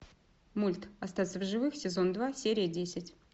мульт остаться в живых сезон два серия десять